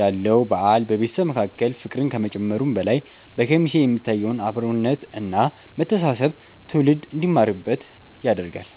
ያለው በዓል በቤተሰብ መካከል ፍቅርን ከመጨመሩም በላይ፣ በኬሚሴ የሚታየውን አብሮነት እና መተሳሰብ ትውልድ እንዲማርበት ያደርጋል።